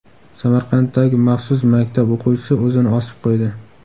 Samarqanddagi maxsus maktab o‘quvchisi o‘zini osib qo‘ydi.